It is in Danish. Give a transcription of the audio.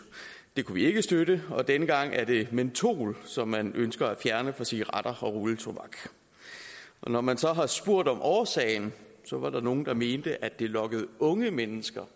det kunne vi ikke støtte og denne gang er det mentol som man ønsker at fjerne fra cigaretter og rulletobak og når man så har spurgt om årsagen var der nogle der mente at det lokkede unge mennesker